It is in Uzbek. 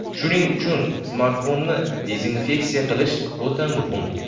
Shuning uchun smartfonni dezinfeksiya qilish o‘ta muhim.